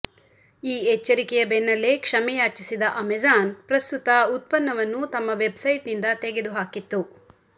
ಈ ಎಚ್ಚರಿಕೆಯ ಬೆನ್ನಲ್ಲೇ ಕ್ಷಮೆಯಾಚಿಸಿದ ಅಮೆಜಾನ್ ಪ್ರಸ್ತುತ ಉತ್ಪನ್ನವನ್ನು ತಮ್ಮ ವೆಬ್ಸೈಟ್ನಿಂದ ತೆಗೆದು ಹಾಕಿತ್ತು